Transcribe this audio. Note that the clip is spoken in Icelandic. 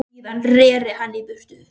Síðan reri hann í burtu.